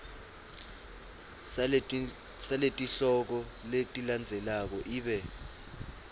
saletihloko letilandzelako ibe